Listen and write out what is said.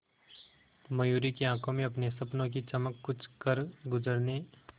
मयूरी की आंखों में अपने सपनों की चमक कुछ करगुजरने